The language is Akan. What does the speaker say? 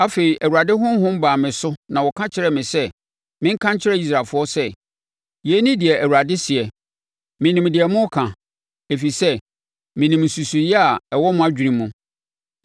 Afei, Awurade Honhom baa me so na ɔka kyerɛɛ me sɛ menka nkyerɛ Israelfoɔ sɛ, “Yei ne deɛ Awurade seɛ. Menim deɛ moreka, ɛfiri sɛ menim nsusuiɛ a ɛwɔ mo adwene mu.